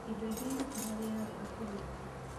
Indo ingĩ irutaga wĩra wega kũrĩ ingĩ.